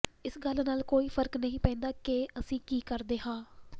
ਇਸ ਗੱਲ ਨਾਲ ਕੋਈ ਫ਼ਰਕ ਨਹੀਂ ਪੈਂਦਾ ਕਿ ਅਸੀਂ ਕੀ ਕਰਦੇ ਹਾਂ